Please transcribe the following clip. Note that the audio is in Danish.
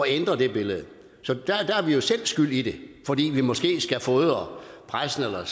ændre det billede så der er vi jo selv skyld i det fordi vi måske skal fodre pressen eller